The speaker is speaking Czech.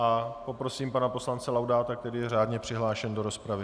A poprosím pana poslance Laudáta, který je řádně přihlášen do rozpravy.